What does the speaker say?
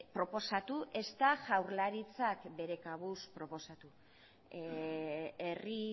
proposatu ezta jaurlaritzak bere kabuz proposatu herri